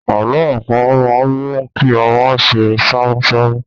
Àlọ́ àpamọ̀ máa ń mú kí ọmọ ṣe ṣámúṣámú.